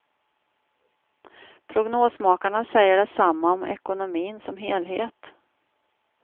Prognosmakarna säger detsamma om ekonomin som helhet.